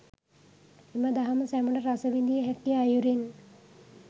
එම දහම සැමට රස විඳිය හැකි අයුරින්